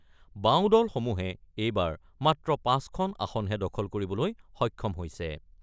বাওঁ দলসমূহে এইবাৰ মাত্ৰ ৫ খন আসনহে দখল কৰিবলৈ সক্ষম হৈছে।